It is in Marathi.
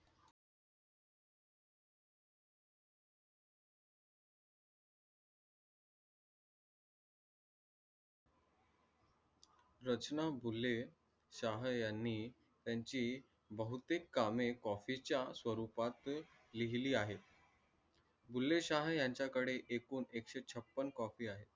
रचना बुले शहा यांनी त्यांची बहुतेक कामे copy च्या स्वरुपात लिहली आहे. बुले शहा यांच्य्कडे एकशे छप्पन copy आहेत.